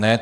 Ne.